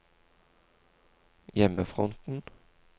hjemmefronten